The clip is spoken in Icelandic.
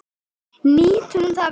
Nýtum það vel.